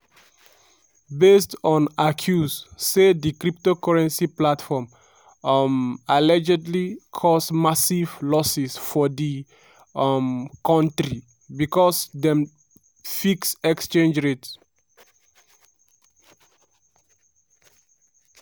based on accuse say di cryptocurrency platform um allegedly cause massive losses for di um kontri becos dem dey fix exchange rate.